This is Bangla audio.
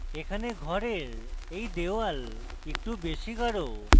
এখানে ঘরের এই wall একটু বেশী গাঢ়